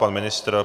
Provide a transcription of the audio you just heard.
Pan ministr?